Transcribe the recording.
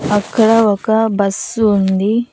అక్కడ ఒక బస్సు ఉంది.